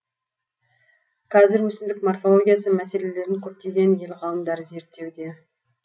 кәзір өсімдік морфологиясы мәселелерін көптеген ел ғалымдары зерттеуде